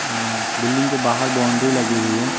अ building के बाहर boundary लगी हुई है।